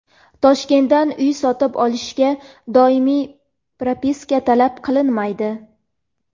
Toshkentdan uy sotib olishga doimiy propiska talab qilinmaydi.